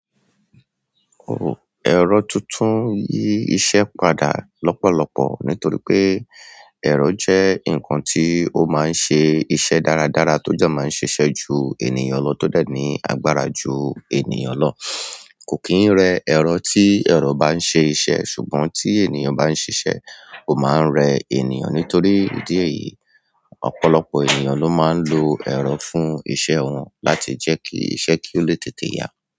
Ẹ̀rọ tuntun yí iṣẹ́ padà lọ́pọ̀lọpọ̀ nítorí pé ẹ̀rọ jẹ́ nǹkan tí ó máa ń ṣe iṣẹ́ dáradára tó jẹ máa ń ṣiṣẹ́ jù ènìyàn lọ tọ́ dẹ̀ ní agbára jù ènìyàn lọ. Kò kín rẹ̀ ẹ̀rọ tí, ẹ̀rọ baa ń ṣe iṣẹ́, ṣùgbọ́n tí ènìyàn bá ń ṣe iṣẹ́ ó máa ń rẹ̀ ènìyàn, nítorí ìdí èyí, ọ̀pọ̀lọpọ̀ ènìyàn ló máa ń lo ẹ̀rọ fún iṣẹ́, kí iṣẹ́ kole tètè ya.